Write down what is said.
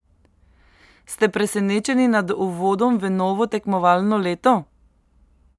Ste presenečeni nad uvodom v novo tekmovalno leto?